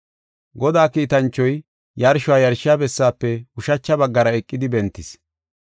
Godaa kiitanchoy yarsho yarshiya bessaafe ushacha baggara eqidi bentis.